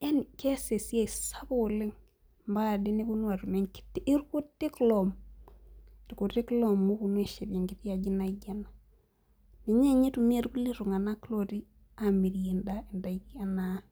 yaani keess esiai sapuk oleng mbaka ade nepuonu atum irkutik ooom loopunuu ashet enkitii ajii naijoo enaa ninjee upuonuu itunganak amiriee idakin